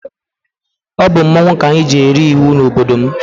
Ọ bụ mmọnwụ ka anyị ji eri iwu n'obodo m.